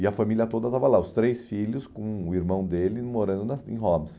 E a família toda estava lá, os três filhos com o irmão dele morando na em Hobbs.